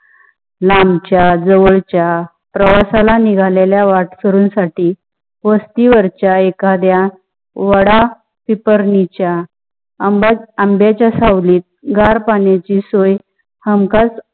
लांबच्या जवळच्या प्रवासाला निघालेला वाटसरुण साथी वस्‍ती वरच्‍या एखाड्याचा वाडा पिंप्रीचा, आंब्याच्‍या सावलीत गार पानाया ची सोय हमखास